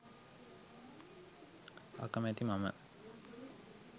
අකමැති මම